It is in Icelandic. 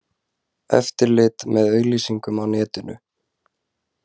Eftirlit með auglýsingum á netinu